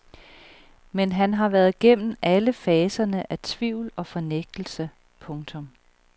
Men han har været gennem alle faserne af tvivl og fornægtelse. punktum